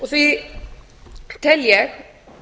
því tel ég